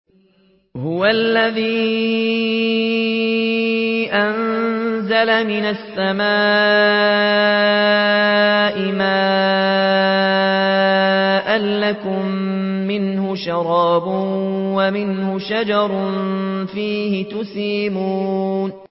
هُوَ الَّذِي أَنزَلَ مِنَ السَّمَاءِ مَاءً ۖ لَّكُم مِّنْهُ شَرَابٌ وَمِنْهُ شَجَرٌ فِيهِ تُسِيمُونَ